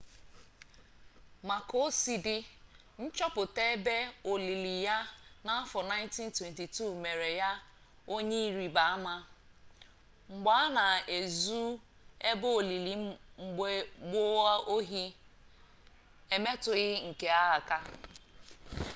ma ka o si dị nchọpụta ebe olili ya n'afọ 1922 mere ya onye ịrịba ama mgbe a na ezu ebe olili mgbe gboo ohi emetụghị nke a aka